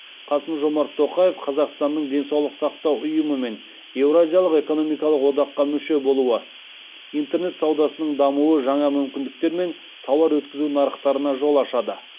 қасым жомарт тоқаев қазақстанның денсаулық сақтау ұйымымен еуразиялық экономикалық одаққа мүше болуы интернет саудасының дамуы жаңа мүмкіндіктер мен тауар өткізу нарықтарына жол ашады